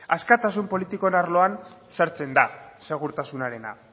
askatasun politikoen arloan sartzen da segurtasunarena